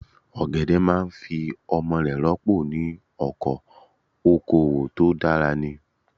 Ọ̀gẹ̀dẹ̀ máa fi ọmọ rẹ̀ rọ́pò ní ọkọ, okòwò tó dára ni.